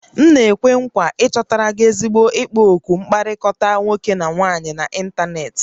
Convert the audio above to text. M na-ekwe nkwa ịchọta gị ezigbo ikpo okwu mkpakọrịta nwoke na nwaanyị n'ịntanetị